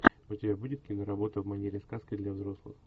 у тебя будет киноработа в манере сказка для взрослых